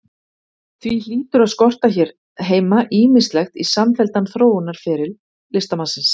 Því hlýtur að skorta hér heima ýmislegt í samfelldan þróunarferil listamannsins.